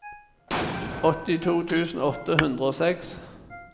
åttito tusen åtte hundre og seks